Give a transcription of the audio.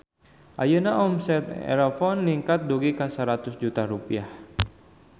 Ayeuna omset Erafone ningkat dugi ka 100 juta rupiah